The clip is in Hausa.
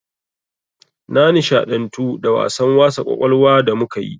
Na nishaɗantu da wasan wasa ƙwaƙwalwa da muka yi.